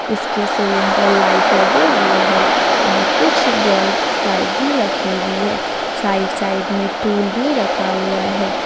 इसके सीलिंग पर लाइट लगे हुए हैं और कुछ बॉल्स लाइट भी लगी हुई है साइड साइड में टूल भी रखा हुआ है।